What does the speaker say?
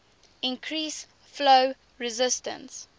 increase flow resistance